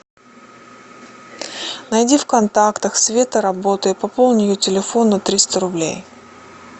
найди в контактах света работа и пополни ее телефон на триста рублей